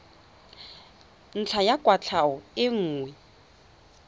ntlha ya kwatlhao e nngwe